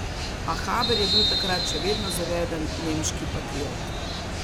A Haber je bil takrat še vedno zaveden nemški patriot.